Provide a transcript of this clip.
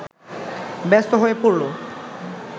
ব্যস্ত হয়ে পড়ল